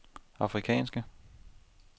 afrikanske